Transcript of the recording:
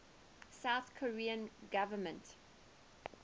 south korean government